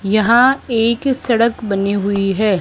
यहां एक सड़क बनी हुई है।